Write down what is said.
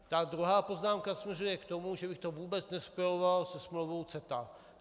Ta druhá poznámka směřuje k tomu, že bych to vůbec nespojoval se smlouvou CETA.